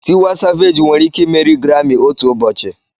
Tiwa Savegi nwere ike imeri Garami otu ụbọchị.